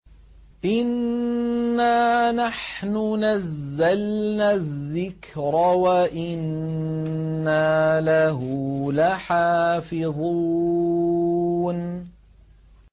إِنَّا نَحْنُ نَزَّلْنَا الذِّكْرَ وَإِنَّا لَهُ لَحَافِظُونَ